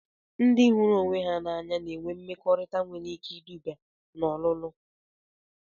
Ndị hụrụ onwe ha n'anya na-enwe mmekọrịta nwere ike iduba n'ọlulu